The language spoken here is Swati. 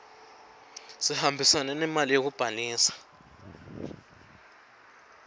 sihambisane nemali yekubhalisa